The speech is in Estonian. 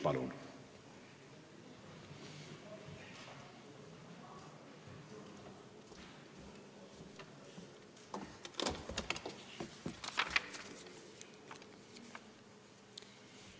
Palun!